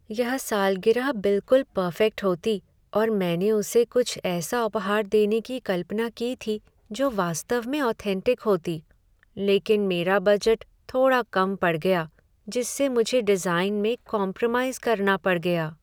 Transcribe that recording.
यह सालगिरह बिलकुल पर्फेक्ट होती और मैंने उसे कुछ ऐसा उपहार देने की कल्पना की थी जो वास्तव में ऑथेन्टिक होती, लेकिन मेरा बजट थोड़ा कम पड़ गया जिससे मुझे डिजाइन में कॉम्प्रोमाइज़ करना पड़ गया।